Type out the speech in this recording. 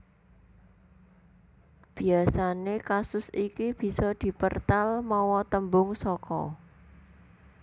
Biasané kasus iki bisa dipertal mawa tembung saka